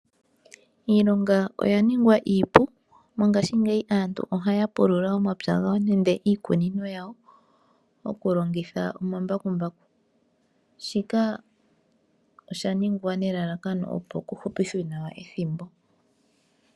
Iilonga oya ningwa iipu mongashingeyi aantu ohaya pulula omapya gawo nenge iikunino yawo oku longitha omambakumbaku, shika osha ningwa nelalakano opo ku hupithwe nawa ethimbo.